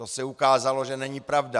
To se ukázalo, že není pravda.